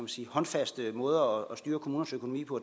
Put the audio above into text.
sige håndfaste måder at styre kommunernes økonomi på